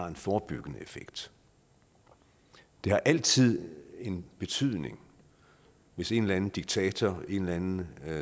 en forebyggende effekt det har altid betydning hvis en eller anden diktator en eller anden